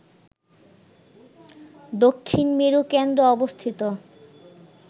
দক্ষিণ মেরু কেন্দ্র অবস্থিত